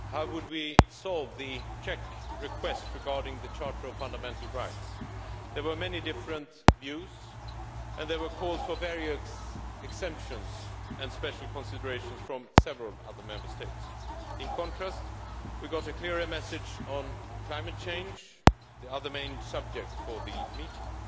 How would we solve the Czech request regarding the Charter of Fundamental Rights? There were many different views, and there were calls for various exemptions and special considerations from several other Member States. In contrast, we got a clearer message on climate change the other main subject for the meeting.